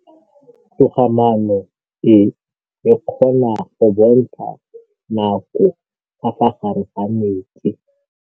Toga-maanô e, e kgona go bontsha nakô ka fa gare ga metsi.